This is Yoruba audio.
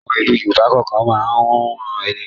Àwọn ìlú Yorùbá kọ̀ọ̀kan máa ń hun ẹní.